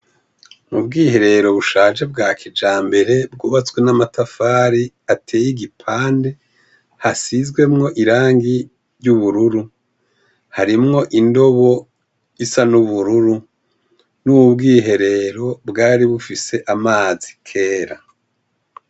Mu bwiherero bushaje bwa kijambere bwubatswe n'amatafari ateye igipande hasizwemwo irangi ry'ubururu harimwo indobo isa n'ubururu n'ubwiherero bwari bufise amazi kera.